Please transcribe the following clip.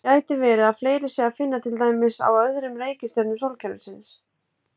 Gæti verið að fleiri sé að finna til dæmis á öðrum reikistjörnum sólkerfisins?